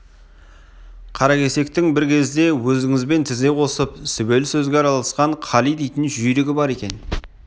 қаракесектің бір кезде өзіңізбен тізе қосып сүбелі сөзге араласқан қали дейтін жүйрігі бар екен